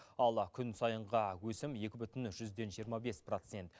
ал күн сайынғы өсім екі бүтін жүзден жиырма бес процент